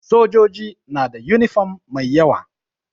Sojoji nada yunifom mai yawa